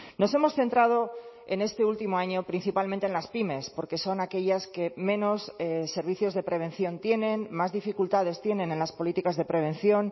nos hemos centrado en este último año principalmente en las pymes porque son aquellas que menos servicios de prevención tienen más dificultades tienen en las políticas de prevención